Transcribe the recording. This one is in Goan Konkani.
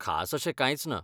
खास अशें कायंच ना .